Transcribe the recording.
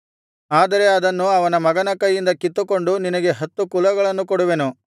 ಆದರೆ ಅದನ್ನು ಅವನ ಮಗನ ಕೈಯಿಂದ ಕಿತ್ತುಕೊಂಡು ನಿನಗೆ ಹತ್ತು ಕುಲಗಳನ್ನು ಕೊಡುವೆನು